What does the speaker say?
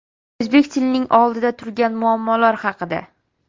O‘zbek tilining oldida turgan muammolar haqida.